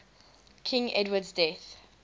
king edward's death